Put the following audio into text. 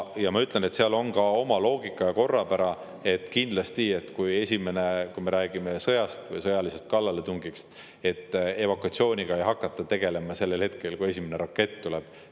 Ja ma ütlen, et seal on ka oma loogika, et kui me räägime sõjast või sõjalisest kallaletungist, siis evakuatsiooniga ei hakata tegelema sellel hetkel, kui esimene rakett tuleb.